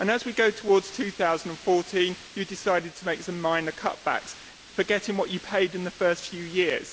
As we go towards 2014 you decided to make some minor cutbacks, forgetting what you paid in the first few years.